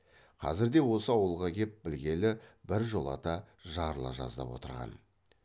қазірде осы ауылға кеп білгелі біржолата жарыла жаздап отырған